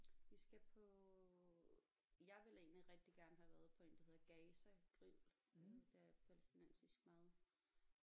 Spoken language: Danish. Vi skal på jeg ville egentlig rigtig gerne have været på én der hedder Gaza Grill øh der er palæstinensisk mad